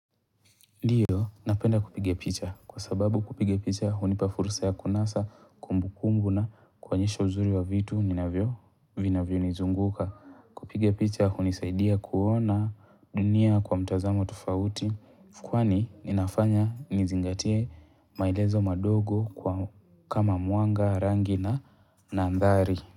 Ndiyo napenda kupiga picha, kwa sababu kupiga picha hunipa fursa ya kunasa kumbukumbu na kuonyesha uzuri wa vitu ninavyo, vinavyonizunguka. Kupiga picha hunisaidia kuona dunia kwa mtazamo tufauti kwani ninafanya nizingatie maelezo madogo kwa kama mwanga, rangi na mandhari.